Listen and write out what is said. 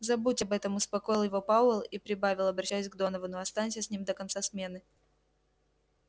забудь об этом успокоил его пауэлл и прибавил обращаясь к доновану останься с ним до конца смены